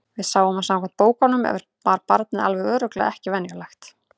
Við sáum að samkvæmt bókunum var barnið alveg örugglega ekki venjulegt.